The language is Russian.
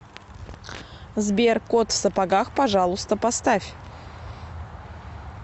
сбер кот в сапогах пожалуйста поставь